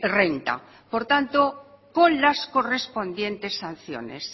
renta por tanto con las correspondientes sanciones